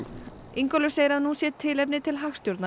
Ingólfur segir að nú sé tilefni til